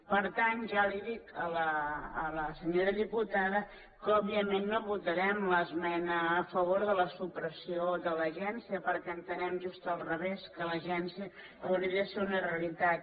per tant ja li dic a la senyora diputada que òbviament no votarem l’esmena a favor de la supressió de l’agència perquè ho entenem just al revés que l’agència hauria de ser una realitat